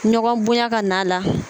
Ɲɔgɔn bonya ka n'a la